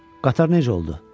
Qatar necə oldu?